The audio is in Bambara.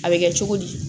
A bɛ kɛ cogo di